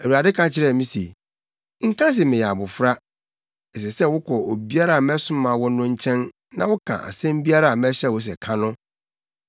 Awurade ka kyerɛɛ me se, “Nka se ‘meyɛ abofra.’ Ɛsɛ sɛ wokɔ obiara a mɛsoma wo no nkyɛn na woka asɛm biara a mɛhyɛ wo sɛ ka no.